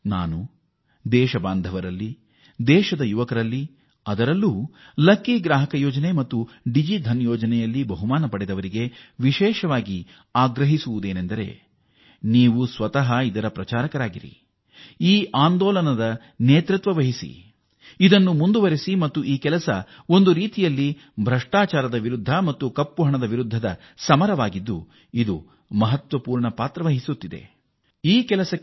ನಾನು ನನ್ನ ದೇಶವಾಸಿಗಳನ್ನು ಅದರಲ್ಲೂ ಯುವಕರನ್ನು ಹಾಗೂ ಲಕ್ಕಿ ಗ್ರಾಹಕ ಯೋಜನೆ ಅಡಿ ಅಥವಾ ಡಿಜಿ ವ್ಯಾಪಾರ್ ಯೋಜನೆ ಅಡಿ ಬಹುಮಾನ ಪಡೆದಿರುವವರನ್ನು ಈ ಯೋಜನೆಯ ಸ್ವಯಂ ರಾಯಭಾರಿಗಳಾಗುವಂತೆ ಮತ್ತು ಇದು ಕಪ್ಪು ಹಣ ಮತ್ತು ಭ್ರಷ್ಟಾಚಾರದ ವಿರುದ್ಧದ ಹೋರಾಟವಾಗಿದ್ದು ಈ ಆಂದೋಲನ ಮುಂದುವರಿಸುವಂತೆ ಕೋರುತ್ತೇನೆ